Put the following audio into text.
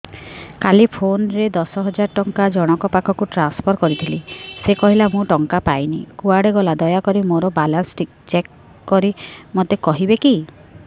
କାଲି PhonePe ରେ ଦଶ ହଜାର ଟଙ୍କା ଜଣକ ପାଖକୁ ଟ୍ରାନ୍ସଫର୍ କରିଥିଲି ସେ କହିଲା ମୁଁ ଟଙ୍କା ପାଇନି କୁଆଡେ ଗଲା ଦୟାକରି ମୋର ବାଲାନ୍ସ ଚେକ୍ କରି ମୋତେ କହିବେ କି